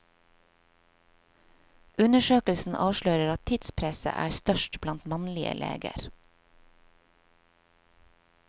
Undersøkelsen avslører at tidspresset er størst blant mannlige leger.